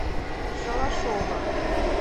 шалашова